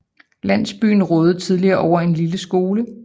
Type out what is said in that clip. Landsbyen rådede tidligere over en lille en skole